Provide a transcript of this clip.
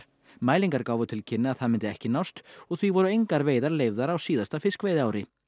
mælingar gáfu til kynna að það myndi ekki nást og því voru engar veiðar leyfðar á síðasta fiskveiðiári